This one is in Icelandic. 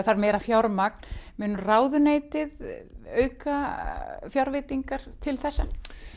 þarf meira fjármagn mun ráðuneytið auka fjárveitingar til þessa